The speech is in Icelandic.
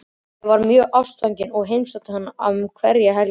Ég var mjög ástfangin og heimsótti hann um hverja helgi.